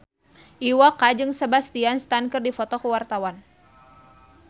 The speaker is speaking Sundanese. Iwa K jeung Sebastian Stan keur dipoto ku wartawan